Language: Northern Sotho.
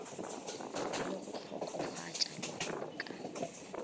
le go hlokofatša lehodu ka